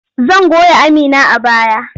Zan goya Amina a baya.